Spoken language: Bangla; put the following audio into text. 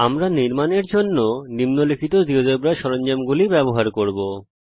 আমরা নির্মাণ করার জন্য নিম্নলিখিত জীয়োজেব্রা সরঞ্জামগুলি ব্যবহার করব